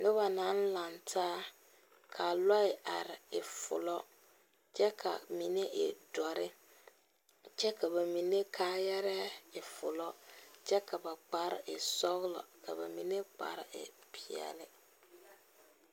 Noba naŋ are laŋe taa kaa lɔr e fulɔ kyɛ ka mine e doɔre., kyɛ ka ba mine kaayaa e fulɔ kyɛ ka ba kpare. e sɔglɔ ka ba mine